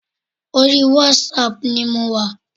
Orí wásaàpù ni mo wà.